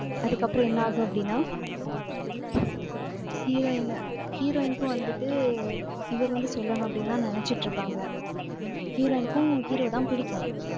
அதுக்கப்புறம் என்ன ஆகும் அப்படின்னா heroine heroine க்கும் வந்துட்டு, இவர் வந்து சொல்லணும், அப்படின்னுதான் நினைச்சிட்டு இருப்பாங்க. heroine க்கும், hero தான் பிடிக்கும்